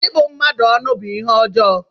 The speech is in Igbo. Ịbụ mmadụ ọnụ bú ihe ọjọọ.